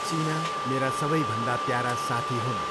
चिना मेरा सबैभन्दा प्यारा साथी हुन्।